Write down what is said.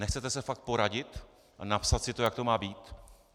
Nechcete se fakt poradit a napsat si to, jak to má být?